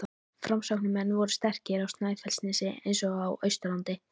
Framsóknarmenn voru sterkir á Snæfellsnesi eins og á Austurlandi.